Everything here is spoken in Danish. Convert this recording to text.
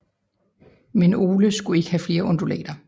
Men Ole skulle ikke have flere undulater